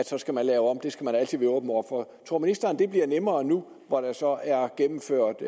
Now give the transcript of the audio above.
så skal lave om det skal man altid være åben over for tror ministeren at det bliver nemmere nu hvor der så er gennemført